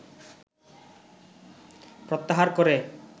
প্রত্যাহার করে